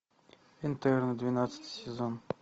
интерны двенадцатый сезон